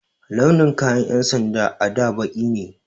Launin kayan 'yan sanda a da baƙi ne.